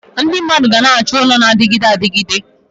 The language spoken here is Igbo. Ndị mmadụ ga-achọ ụlọ na-adịgide adịgide.